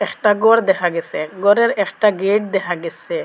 একটা গর দেখা গেসে গরের একটা গেট দেখা গেসে।